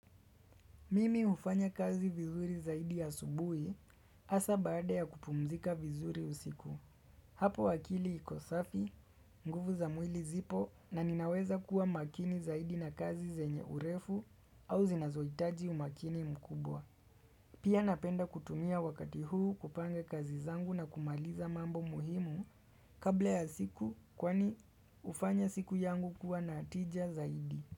Mimi hufanya kazi vizuri zaidi asubui hasa baada ya kupumzika vizuri usiku. Hapo akili iko safi, nguvu za mwili zipo na ninaweza kuwa makini zaidi na kazi zenye urefu au zinazoitaji umakini mkubwa. Pia napenda kutumia wakati huu kupanga kazi zangu na kumaliza mambo muhimu kabla ya siku kwani hufanya siku yangu kuwa na tija zaidi.